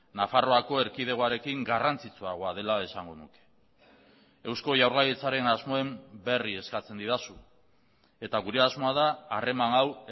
nafarroako erkidegoarekin garrantzitsuagoa dela esango nuke eusko jaurlaritzaren asmoen berri eskatzen didazu eta gure asmoa da harreman hau